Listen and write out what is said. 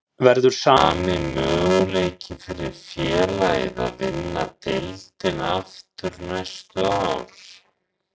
Verður sami möguleiki fyrir félagið að vinna deildina aftur næstu ár?